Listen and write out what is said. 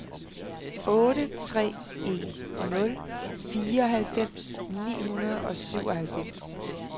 otte tre en nul fireoghalvfems ni hundrede og syvoghalvfems